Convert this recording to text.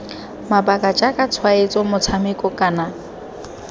mabaka jaaka tshwaetso motshameko kana